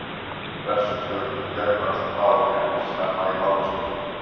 Vestur-germönsk mál greindust snemma í mállýskur.